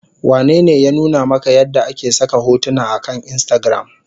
Wanene ya nuna maka yadda ake saka hotuna akan instagram?